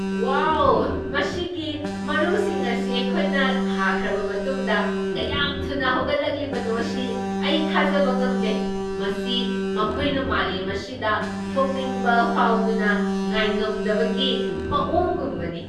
ꯋꯥꯎ, ꯃꯁꯤꯒꯤ ꯃꯔꯨꯁꯤꯡ ꯑꯁꯤ ꯑꯩꯈꯣꯏꯅ ꯊꯥꯈ꯭ꯔꯕ ꯃꯇꯨꯡꯗ ꯀꯌꯥꯝ ꯊꯨꯅ ꯍꯧꯒꯠꯂꯛꯂꯤꯕꯅꯣ ꯁꯤ ꯑꯩ ꯊꯥꯖꯕ ꯉꯝꯗꯦ ꯫ ꯃꯁꯤ ꯃꯈꯣꯏꯅ ꯃꯥꯂꯦꯝ ꯑꯁꯤꯗ ꯊꯣꯛꯅꯤꯡꯕ ꯐꯥꯎꯗꯨꯅ ꯉꯥꯏꯉꯝꯗꯕꯒꯤ ꯃꯑꯣꯡꯒꯨꯝꯕꯅꯤ!